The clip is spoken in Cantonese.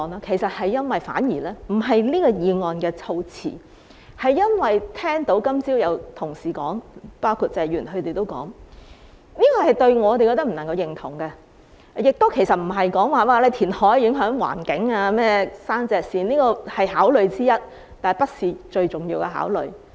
其實並非因為這項議案措辭，而是因為今早聽過同事——包括謝議員——的發言內容後，我們覺得不能夠認同的；亦非因為填海影響環境或山脊線——雖然這是考慮之一，卻不是最重要的考慮。